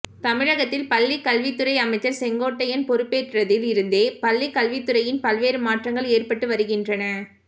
தமிழகத்தில் பள்ளிக் கல்வித்துறை அமைச்சர் செங்கோட்டையன் பொறுப்பேற்றதில் இருந்தே பள்ளி கல்வித்துறையில் பல்வேறு மாற்றங்கள் ஏற்பட்டு வருகின்றன